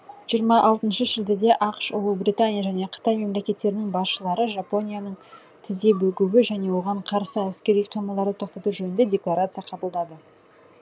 жиырма алтыншы шілдеде ақш ұлыбритания және қытай мемлекеттерінің басшылары жапонияның тізе бүгуі және оған қарсы әскери қимылдарды тоқтату жөнінде декларация қабылдады